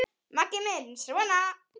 Maggi minn sona!